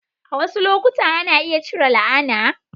A wasu lokuta, ana iya cire la'ana.